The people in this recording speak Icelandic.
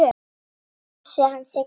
Guð blessi hana Siggu mína.